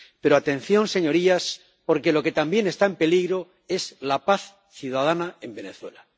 Pero atención, señorías, porque lo que también está en peligro es la paz ciudadana en Venezuela